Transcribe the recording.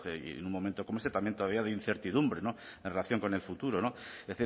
en un momento como este también todavía de incertidumbre no en relación con el futuro no es